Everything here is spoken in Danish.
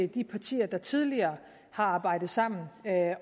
de partier der tidligere har arbejdet sammen